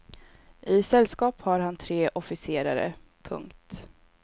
I sällskap har han tre officerare. punkt